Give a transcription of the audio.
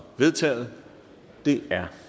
vedtaget det er